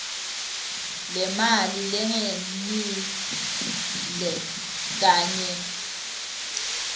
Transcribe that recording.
lemali lengenile kanye